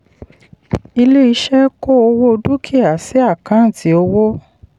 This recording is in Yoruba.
ilé-iṣẹ́ kó owó dúkìá sí àkántì owó.